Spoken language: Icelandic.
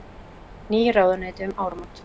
Ný ráðuneyti um áramót